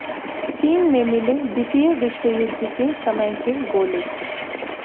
चीन में मिले द्वितीय विश्वयुद्ध के समय के गोले